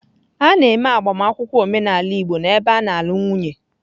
A na-eme agbamakwụkwọ omenala igbo n'ebe a na-alụ nwunye.